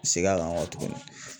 Seg'an kan ɔ kɔ tuguni